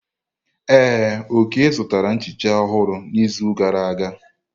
Ee, Oke zụtara nchicha ọhụrụ n'izu gara aga.